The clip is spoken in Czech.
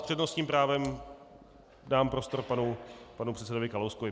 S přednostním právem dám prostor panu předsedovi Kalouskovi.